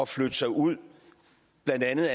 flytte sig ud af blandt andet